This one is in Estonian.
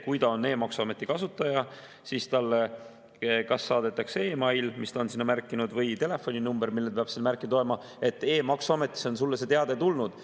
Kui ta on e‑maksuameti kasutaja, siis talle kas saadetakse e‑mail, mis ta on sinna märkinud, või telefoninumbrile, mille ta peab sinna märkinud olema, et e‑maksuametis on talle teade tulnud.